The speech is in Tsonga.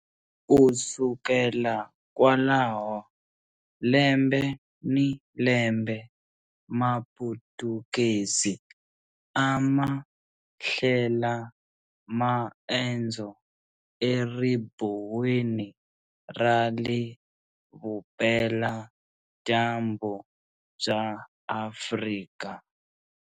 Ku sukela kwalaho, lembe ni lembe Maputukezi a ma hlela maendzo eribuweni ra le vupela-dyambu bya Afrika.